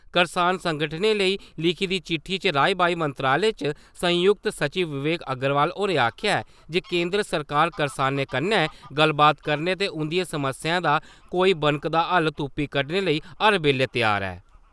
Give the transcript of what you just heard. करसान संगठने लेई लिखी दी चिट्ठी च राई-वाई मंत्रालय च संयुक्त सचिव विवेक अग्रवाल होरें आखेआ ऐ जे केंदर सरकार करसानें कन्नै गल्लबात करने ते उन्दिएं समस्याएं दा कोई बनकदा हल तुप्पी कड्डने लेई हर बेल्ले त्यार ऐ ।